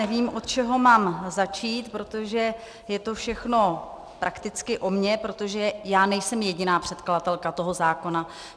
Nevím, od čeho mám začít, protože je to všechno prakticky o mně, protože já nejsem jediná předkladatelka toho zákona.